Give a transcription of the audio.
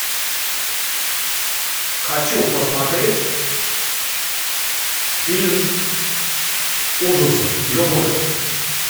хочу посмотреть фильм ужасов любой